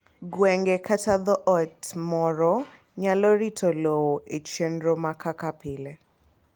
Gwenge kata dhoot moro nyalo rito lowo e chenro ma kaka pile.